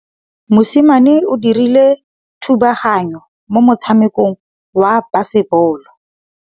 Mosimane o dirile thubaganyô mo motshamekong wa basebôlô.